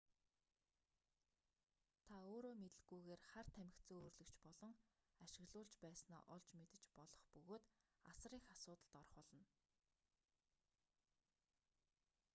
та өөрөө мэдэлгүйгээр хар тамхи зөөвөрлөгч болон ашиглуулж байснаа олж мэдэж болох бөгөөд асар их асуудалд орох болно